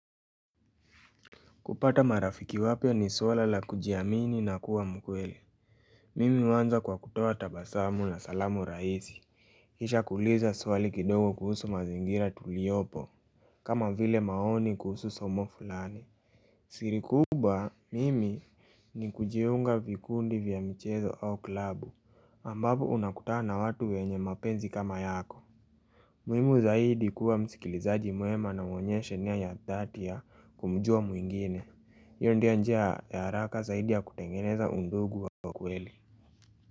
Kupata marafiki wapya ni swala la kujiamini na kuwa mkweli. Mimi huanza kwa kutuoa tabasamu na salamu rahisi. Kisha kuuliza swali kidogo kuhusu mazingira tuliopo. Kama vile maoni kuhusu somo fulani. Siri kubwa mimi ni kujiunga vikundi vya mchezo au klabu. Ambavyo unakutana na watu wenye mapenzi kama yako. Muhimu zaidi kuwa msikilizaji mwema na uonyeshe nia ya dhati ya kumjua mwingine. Iyo ndio njia ya haraka zaidi ya kutengeneza undugu wa kweli.